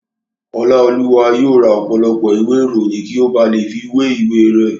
Ọláolúwa yóò ra ọ̀pọ̀lọpọ̀ ìwé ìròyìn kí ó ba lè fi wé ìwé rẹ̀